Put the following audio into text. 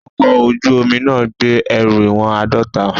Ọkọ̀ ojú omi náà gbé ẹrù ìwọ̀n àádọ́ta.